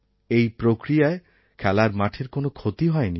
এই প্রক্রিয়ায় খেলার মাঠের কোনো ক্ষতি হয়নি